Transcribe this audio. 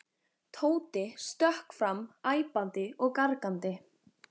Tóti stökk fram æpandi og gargandi.